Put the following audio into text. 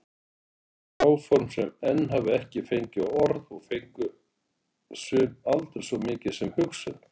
Áform sem enn hafa ekki fengið orð og fengu sum aldrei svo mikið sem hugsun.